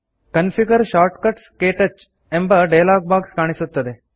configure shortcuts - ಕ್ಟಚ್ ಎಂಬ dialog box ಕಾಣಿಸುತ್ತದೆ